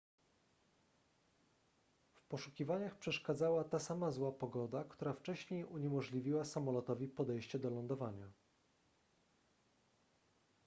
w poszukiwaniach przeszkadzała ta sama zła pogoda która wcześniej uniemożliwiła samolotowi podejście do lądowania